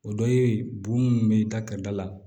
O dɔ ye bon mun bɛ da ka da la